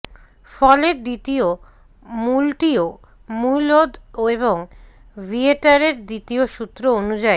ফলে দ্বিতীয় মূলটিও মূলদ এবং ভিয়েটারের দ্বিতীয় সূত্র অনুযায়ী